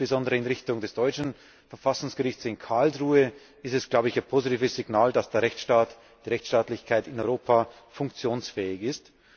Insbesondere in Richtung des deutschen Verfassungsgerichts in Karlsruhe ist es ein positives Signal, dass die Rechtsstaatlichkeit in Europa funktionsfähig ist.